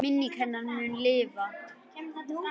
Minning hennar mun lifa.